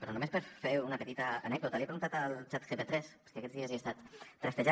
però només per fer una petita anècdota li he preguntat al chatgp3 és que aquests dies l’he estat trastejant